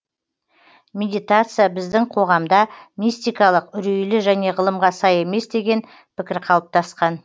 медитация біздің қоғамда мистикалық үрейлі және ғылымға сай емес деген пікір қалыптасқан